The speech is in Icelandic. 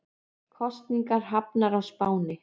Kosningar hafnar á Spáni